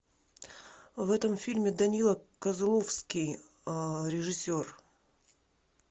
в этом фильме данила козловский режиссер